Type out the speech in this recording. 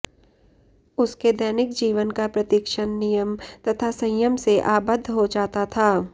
उसके दैनिक जीवन का प्रतिक्षण नियम तथा संयम से आबद्ध हो जाता था